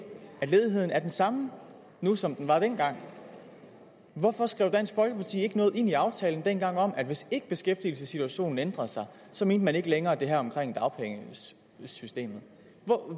ledigheden er den samme nu som den var dengang hvorfor skrev dansk folkeparti ikke noget ind i aftalen dengang om at hvis ikke beskæftigelsessituationen ændrede sig så mente man ikke længere det her om dagpengesystemet